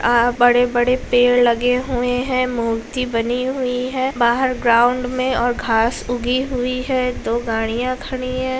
अ बड़े-बड़े पेड़ लगे हुए है मूर्ति बनी हुई है बाहर ग्राउंड में और घास उगी हुई है दो गाड़ियाँ खड़ी है।